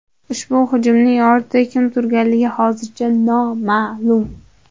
Ushbu hujumning ortida kim turganligi hozircha noma’lum.